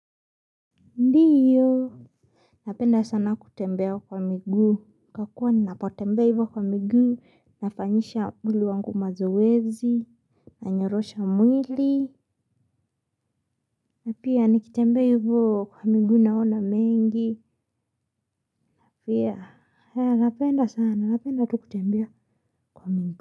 Ndio. Napenda sana kutembea kwa miguu. Kwa kuwa nilapotembea hivyo kwa miguu nafanyisha mwili wangu mazoeezi. Nanyorosha mwili. Na pia nikitembea hivyo kwa miguu naona mengi pia. Napenda sana. Napenda tu kutembea kwa migu.